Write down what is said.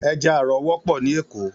Èjà àrò wòpò ni Ékó